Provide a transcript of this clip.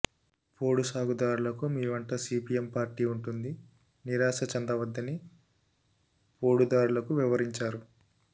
పోడు సాగు దారులకు మీ వెంట సిపిఎం పార్టీ ఉంటుంది నిరాశ చెందవద్దని పోడుదారులకు వివరించారు